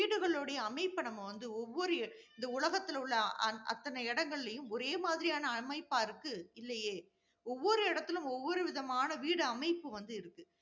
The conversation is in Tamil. வீடுகளுடைய அமைப்பு நம்ம வந்து ஒவ்வொரு இந்த உலகத்தில் உள்ள, அ~ அத்தனை இடங்கள்லையும் ஒரே மாதிரியான அமைப்பா இருக்கு இல்லையே ஒவ்வொரு இடத்திலயும், ஒவ்வொரு விதமான வீடு அமைப்பு வந்து இருக்கு